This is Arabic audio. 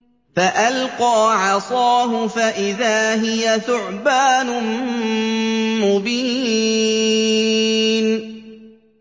فَأَلْقَىٰ عَصَاهُ فَإِذَا هِيَ ثُعْبَانٌ مُّبِينٌ